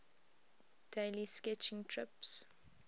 daily sketching trips